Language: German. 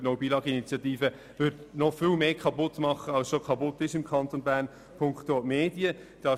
Denn diese Initiative würde punkto Medien noch viel mehr kaputt machen hier im Kanton Bern, als bereits kaputt gegangen ist.